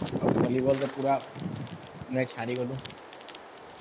ଆଉ ଭଲିବଲ୍ ରେ ପୁରା ମ୍ଯାଚ୍ ହାରିଗଲୁ